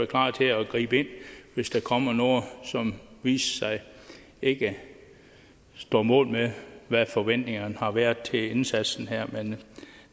klar til at gribe ind hvis der kommer noget som viser sig ikke står mål med hvad forventningerne har været til indsatsen her men